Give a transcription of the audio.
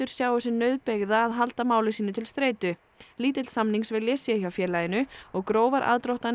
sjái sig nauðbeygða að halda máli sínu til streitu lítill samningsvilji sé hjá félaginu og grófar aðdróttanir